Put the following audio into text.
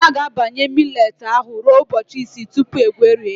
A ga-abanye millet ahụ ruo ụbọchị isii tupu egwerie ya.